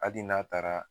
Hali n'a taara